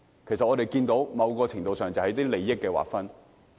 其實，我們看到在某程度上是關乎利益的劃分。